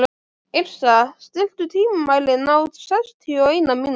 Yrsa, stilltu tímamælinn á sextíu og eina mínútur.